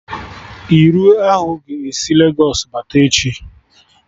Iru ahụ ga-esi Legos bata echi